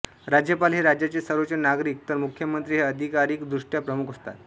राज्यपाल हे राज्याचे सर्वोच्च नागरिक तर मुख्यमंत्री हे अधिकारीक दृष्ट्या प्रमुख असतात